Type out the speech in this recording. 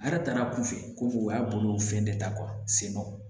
A yɛrɛ taara a kun fɛ ko o y'a bolo fɛn de ta sen don